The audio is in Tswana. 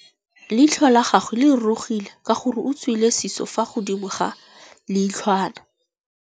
Leitlhô la gagwe le rurugile ka gore o tswile sisô fa godimo ga leitlhwana.